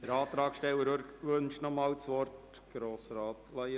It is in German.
Der Antragsteller wünscht nochmals das Wort.